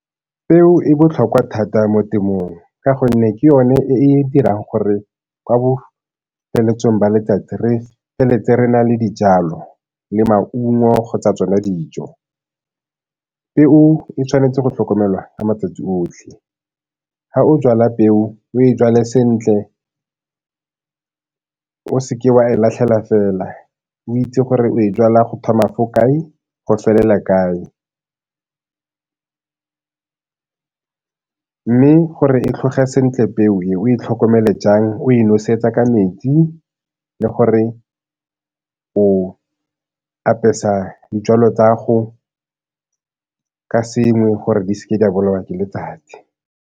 Peo e botlhokwa thata mo temong ka gonne ke yone e e dirang gore kwa bofeletsong jwa letsatsi re feleletse re na le dijalo le maungo kgotsa tsona dijo. Peo e tshwanetse go tlhokomelwa ka matsatsi otlhe, ga o jala peo o e jale sentle, o se ke wa e latlhela fela. O itse gore o e jala go thoma fa kae go felela kae mme gore tlhoge sentle peo e, o itlhokomele jang o e nosetsa ka metsi le gore o apesa dijalo ka sengwe gore di se ke di a bolewa ke letsatsi.